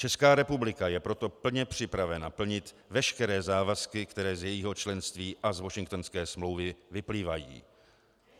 Česká republika je proto plně připravena plnit veškeré závazky, které z jejího členství a z Washingtonské smlouvy vyplývají.